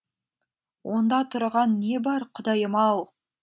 онда тұрған не бар құдайым ау